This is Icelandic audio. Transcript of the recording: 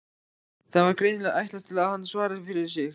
Það var greinilega ætlast til að hann svaraði fyrir sig.